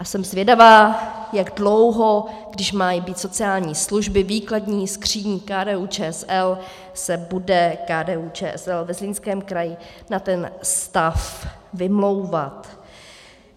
A jsem zvědavá, jak dlouho, když mají být sociální služby výkladní skříní KDU-ČSL, se bude KDU-ČSL ve Zlínském kraji na ten stav vymlouvat.